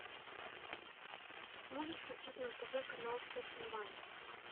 можешь включить на тв канал фешн ван